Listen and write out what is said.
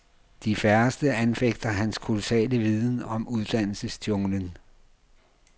De færreste anfægter hans kolossale viden om uddannelsesjunglen.